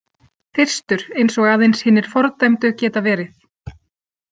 Þyrstur eins og aðeins hinir fordæmdu geta verið.